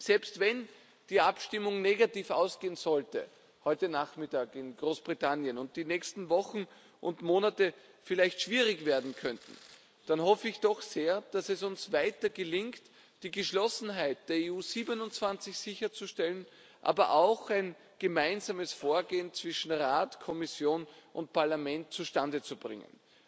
Selbst wenn die Abstimmung negativ ausgehen sollte heute Nachmittag in Großbritannien und die nächsten Wochen und Monate vielleicht schwierig werden könnten, hoffe ich doch sehr, dass es uns weiter gelingt, die Geschlossenheit der EU 27 sicherzustellen, aber auch ein gemeinsames Vorgehen zwischen Rat, Kommission und Parlament zustande zu bringen.